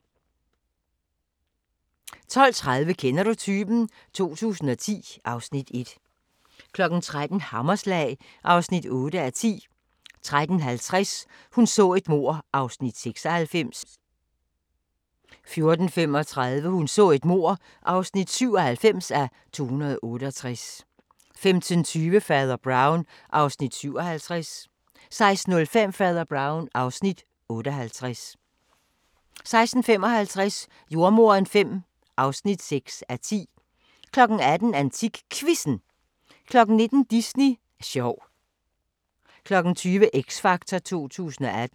12:30: Kender du typen? 2010 (Afs. 1) 13:00: Hammerslag (8:10) 13:50: Hun så et mord (96:268) 14:35: Hun så et mord (97:268) 15:20: Fader Brown (Afs. 57) 16:05: Fader Brown (Afs. 58) 16:55: Jordemoderen V (6:10) 18:00: AntikQuizzen 19:00: Disney sjov 20:00: X Factor 2018